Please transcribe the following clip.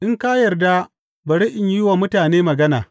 In ka yarda bari in yi wa mutane magana.